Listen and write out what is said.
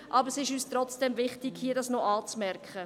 Trotzdem ist es und wichtig, diese hier anzumerken.